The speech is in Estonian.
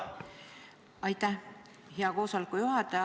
Aitäh, hea koosoleku juhataja!